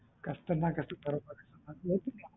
cut பண்ணா கட்டு போட போறாங்க